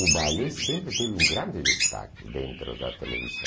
O ballet sempre teve um grande destaque dentro da televisão.